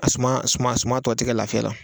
A suma suma sumatɔ tigɛ lafiya la